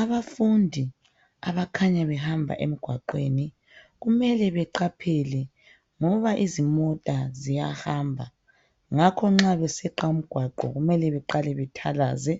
Abafundi abakhanya behamba emgwaqweni kumele beqaphele ngoba izimota ziyahamba. Ngakho nxa beseqa umgwaqo kumele beqale bethalaze.